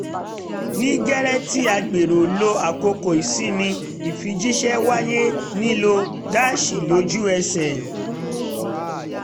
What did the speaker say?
ní gẹ́rẹ́ tí à ń gbèrò lọ àkókò ìsinmi ìfijíṣẹ́ wáyé nílò dásí lójú ẹsẹ̀